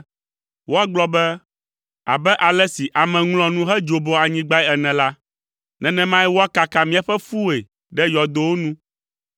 Woagblɔ be, “Abe ale si ame ŋlɔa nu hedzoboa anyigbae ene la, nenemae woakaka míaƒe ƒuwoe ɖe yɔdowo nu.”